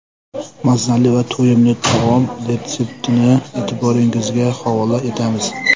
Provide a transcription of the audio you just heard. Mazali va to‘yimli taom retseptini e’tiboringizga havola etamiz.